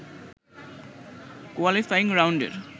qualifying রাউন্ডের